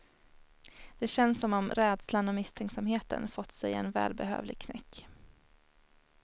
Det känns som om rädslan och misstänksamheten fått sig en välbehövlig knäck.